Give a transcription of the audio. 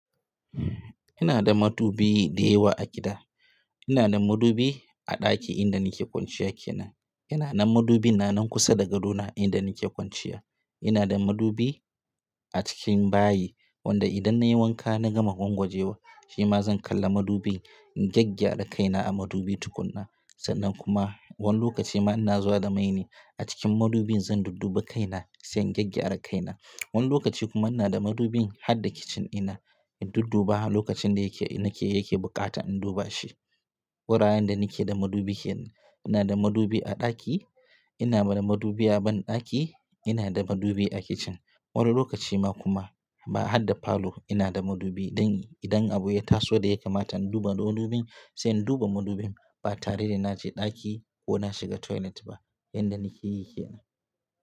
Ina da madubi da yawa a gida. Ina da madubi a ɗaki inda nake kwanciya kenan. Ina na madubi na nan kusa da gadona inda nake kwanciya. Ina da madubi a cikin bayi wanda idan nayi wanka na gama gwangwaje wa, shi ma zan kalla madubin in gyaggyara kaina a madubi tukuna. Sannan kuma wani lokaci ma ina zuwa da mai ne a cikin madubin zan dudduba kaina sai in gyaggyara kaina. Wani lokaci kuma ina da madubin har da kicin ina in dudduba lokacin da yake, nake yake bukata in duba shi. Guraren da nake da madubi kenan. Ina da madubi a ɗaki, ina da madubi a banɗaki, ina da madubi a kicin. Wani lokaci ma kuma ba har da falo ina da madubi dan idan abu ya taso da ya kamata in duba madubin sai in duba madubin ba tare da naje ɗaki ko na shiga toilet ba. Yanda nake yi kenan.